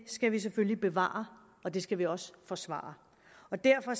skal vi selvfølgelig bevare og det skal vi også forsvare og derfor